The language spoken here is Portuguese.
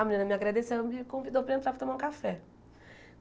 A menina me agradeceu e me convidou para entrar para tomar um café.